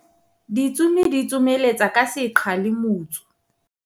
ditsomi di tsoma letsa ka seqha le motsu